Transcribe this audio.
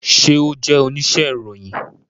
Ṣe o jẹ onise iroyin?